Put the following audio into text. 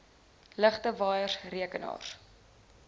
ligte waaiers rekenaars